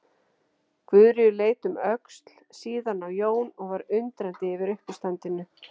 Guðríður leit um öxl, síðan á Jón og var undrandi yfir uppistandinu.